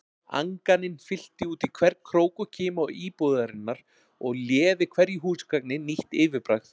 Anganin fyllti útí hvern krók og kima íbúðarinnar og léði hverju húsgagni nýtt yfirbragð.